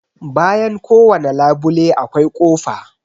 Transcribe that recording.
Bayan kowane labule akwai kofa.